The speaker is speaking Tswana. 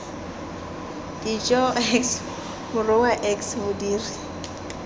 dijo x morongwa x modiri